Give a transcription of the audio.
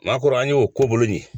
Nakɔra an y'o ko bolo nin ye